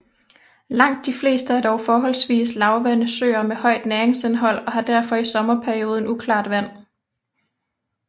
Langt de fleste er dog forholdsvis lavvandede søer med højt næringsindhold og har derfor i sommerperioden uklart vand